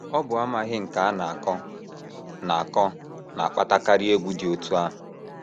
Ọ bụ amaghị nke a na - akọ na - akọ na - akpatakarị egwu dị otú ahụ.